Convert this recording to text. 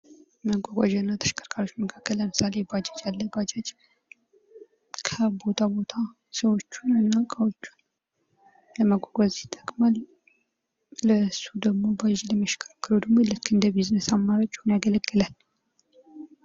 መጓጓዣና ተሽከርካሪዎች መካከል ለምሳሌ ባጃጅ አለ ባጃጅ ከቦታ ቦታ ሰዎችንና እቃዎችን ለማጓጓዝ ይጠቅማል። ባጃጅ ለመሽከረክረው ደግሞ ልክ እንደ ቢዝነስ አማራጭ ሆኖ ያገለግላል።